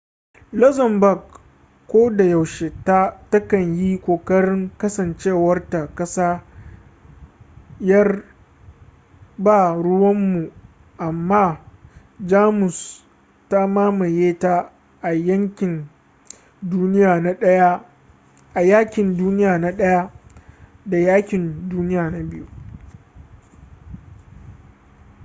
luxembourg kodayaushe ta kan yi kokarin kasancewarta ƙasa 'yar ba-ruwanmu amma jamus ta mamaye ta a yaƙin duniya na ɗaya da yaƙin duniya na biyu